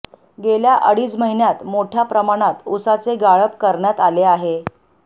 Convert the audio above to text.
गेल्या अडीच महिन्यात मोठ्या प्रमाणात ऊसाचे गाळप करण्यात आले आहे